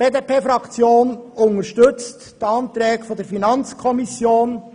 Die BDP-Fraktion unterstützt die Anträge der FiKo.